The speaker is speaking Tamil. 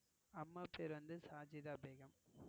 அம்மா பெயர் வந்து சாஜிதா பேகம்.